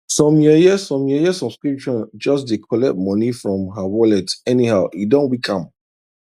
some yeye some yeye subscription just dey collect money from her wallet anyhow e don weak am